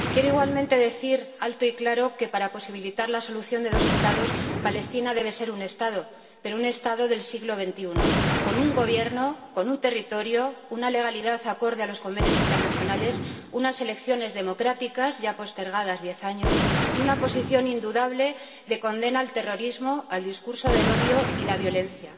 Quiero igualmente decir alto y claro que, para posibilitar la solución de dos Estados, Palestina debe ser un Estado, pero un Estado del siglo XXI, con un gobierno, un territorio, una legalidad acorde a los convenios internacionales, unas elecciones democráticas, ya postergadas diez años, y una posición indudable de condena del terrorismo, del discurso del odio y de la violencia.